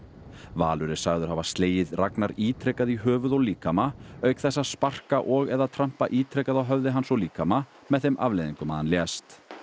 Valur er sagður hafa slegið Ragnar ítrekað í höfuð og líkama auk þess að sparka og eða trampa ítrekað á höfði hans og líkama með þeim afleiðingum að hann lést